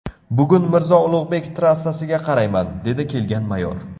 Bugun Mirzo Ulug‘bek trassasiga qarayman, dedi kelgan mayor.